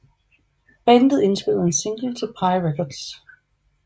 Bandet indspillede en single til Pye Records